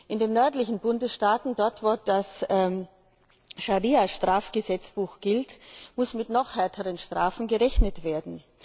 In den nördlichen Bundesstaaten, dort wo das Scharia Strafgesetzbuch gilt, muss mit noch härteren Strafen gerechnet werden.